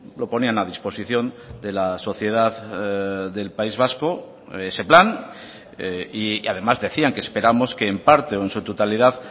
lo ponían a disposición de la sociedad del país vasco ese plan y además decían que esperamos que en parte o en su totalidad